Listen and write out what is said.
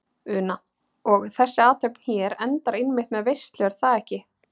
Una: Og þessi athöfn hér endar einmitt með veislu er það ekki?